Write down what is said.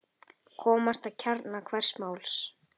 Komast að kjarna hvers máls.